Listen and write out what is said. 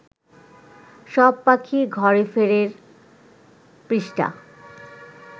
সব পাখি ঘরে ফেরের পৃষ্ঠা